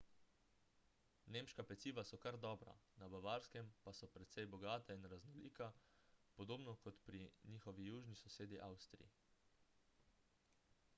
nemška peciva so kar dobra na bavarskem pa so precej bogata in raznolika podobno kot pri njihovi južni sosedi avstriji